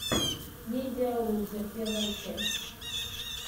медиалузер первая часть